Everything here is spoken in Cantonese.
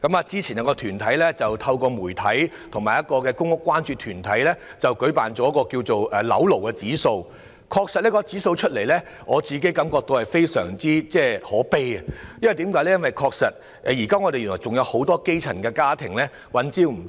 早前，有團體透過媒體和公屋關注團體進行了一項有關"樓奴指數"的調查，而我對其後公布的調查結果感到很可悲，原因是現時仍有很多基層家庭三餐不繼。